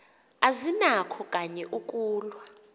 azinakho kanye ukulwa